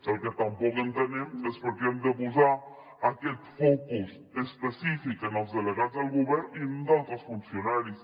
el que tampoc entenem és per què hem de posar aquest focus específic en els delegats del govern i no en d’altres funcionaris